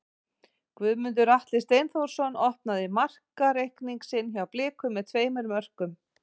Guðmundur Atli Steinþórsson opnaði markareikning sinn hjá Blikum með tveimur mörkum.